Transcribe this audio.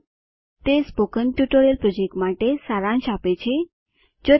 httpspoken tutorialorgWhat is a spoken tutorial તે spoken tutorial project માટે સારાંશ આપે છે